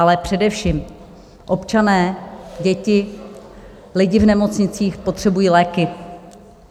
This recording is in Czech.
Ale především občané, děti, lidi v nemocnicích potřebují léky.